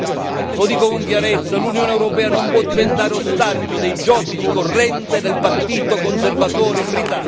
Lo dico con chiarezza l'Unione europea non può diventare ostaggio dei giochi di corrente del partito conservatore britannico.